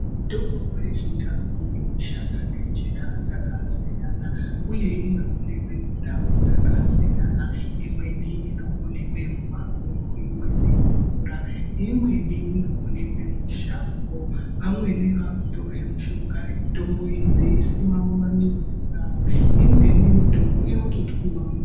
Mitombo yechindau inoshanda ngenjira dzakasiyana, uye inoonekwe mundau dzakasiyana. Imweni inoonekwe mumakomo imweni mumvura. Imweni mushango, vamweni vakutore mushonga mitombo iyi veisima mumamizi dzavo imweni mitombo inototwiva muduri.